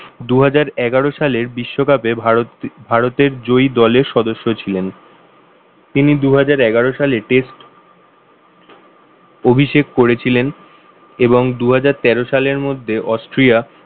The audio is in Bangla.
দুহাজার এগারো সালের বিশ্বকাপে ভারতে ভারতের জয়ী দলের সদস্য ছিলেন। তিনি দুহাজার এগারো সালে test অভিষেক করেছিলেন এবং দুহাজার তেরো সালের মধ্যে অস্ট্রিয়া